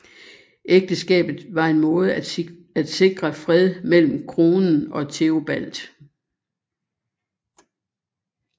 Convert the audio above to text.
Ægteskabet var en måde at sikre fred mellem kronen og Theobald